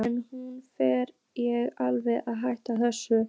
En nú fer ég alveg að hætta þessu.